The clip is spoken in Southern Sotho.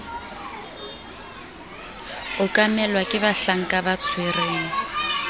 okamelwa ke bahlanka ba tshwereng